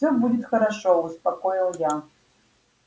всё будет хорошо успокоил я